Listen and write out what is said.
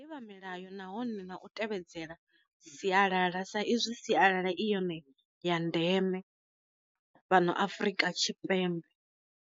Ḓivha milayo nahone na u tevhedzela sialala sa izwi sialala i yone ya ndeme fhano afrika tshipembe.